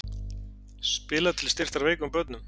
Spilað til styrktar veikum börnum